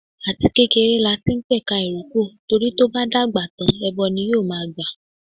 Àti kékeré lati ń pẹ̀ka ìrókò, torí tó bá dàgbà tán ẹbọ ni yóò ma gbà.